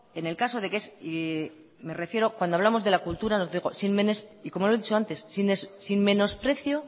en el caso de que si dijo me refiero cuando hablamos de la cultura como le he dicho antes sin menosprecio